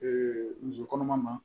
muso kɔnɔma ma